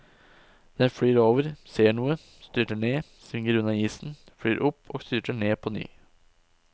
Den flyr over, ser noe, styrter ned, svinger unna isen, flyr opp og styrter ned påny.